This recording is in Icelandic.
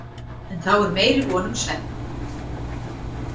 En þá er meiri von um svefn.